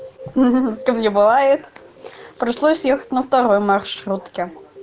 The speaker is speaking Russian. с кем не бывает пришлось ехать на второй маршрутке